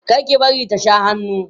kar ki bari ta Sha hannu